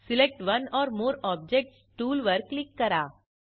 select one or more objects tool वर click करा